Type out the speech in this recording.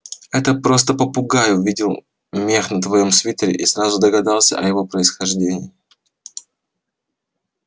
это просто попугай увидел мех на твоём свитере и сразу догадался о его происхождении